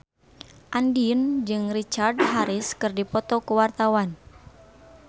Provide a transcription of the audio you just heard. Andien jeung Richard Harris keur dipoto ku wartawan